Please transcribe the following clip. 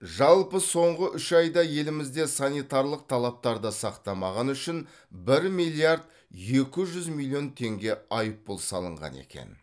жалпы соңғы үш айда елімізде санитарлық талаптарды сақтамағаны үшін бір миллиард екі жүз миллион теңге айыппұл салынған екен